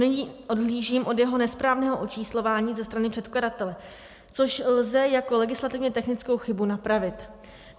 Nyní odhlížím od jeho nesprávného očíslování ze strany předkladatele, což lze jako legislativně technickou chybu napravit.